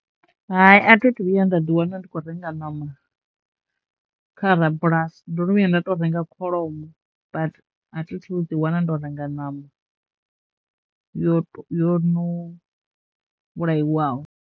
Hai. A thi thu vhuya nda ḓi wana ndi khou renga ṋama kha rabulasi ndo no vhuya nda to renga kholomo but a thi thu ḓi wana ndo renga ṋama yot, yo no vhulaiwaho.